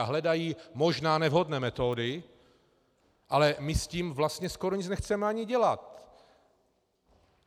A hledají možná nevhodné metody, ale my s tím vlastně skoro nic nechceme ani dělat.